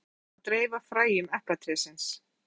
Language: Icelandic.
Apinn með eplið sér um að dreifa fræjum eplatrésins.